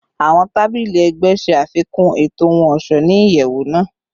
Awọn tabili ẹgbẹ ṣe afikun eto ohun-ọṣọ ni iyẹwu naa